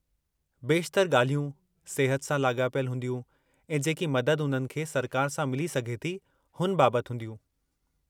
बेशितरु ॻाल्हियूं सिहत सां लाॻापियलु हूंदियूं ऐं जेकी मदद उन्हनि खे सरकार सां मिली सघे थी; हुन बाबतु हूंदियूं।